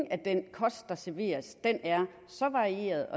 den kost der serveres er varieret